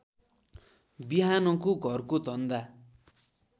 बिहानको घरको धन्दा